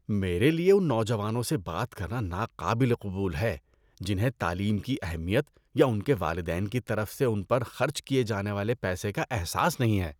میرے لیے ان نوجوانوں سے بات کرنا ناقابل قبول ہے جنہیں تعلیم کی اہمیت یا ان کے والدین کی طرف سے ان پر خرچ کیے جانے والے پیسے کا احساس نہیں ہے۔